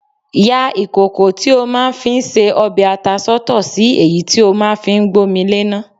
Ya ìkòkò tí o máa ńfi ńse ọbẹ̀ ata sọ́tọ̀ sí èyí tí o máa ń fi gbómi léná.